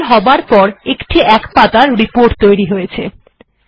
compile হবার পর একটি এক পাতার রিপোর্ট তৈরী হয়েছে